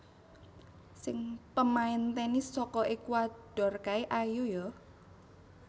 Sing pemain tenis soko Ekuador kae ayu yo